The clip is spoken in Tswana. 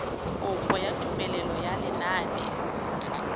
kopo ya tumelelo ya lenane